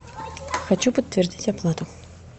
хочу подтвердить оплату